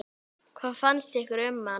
Hvað fannst ykkur um hann?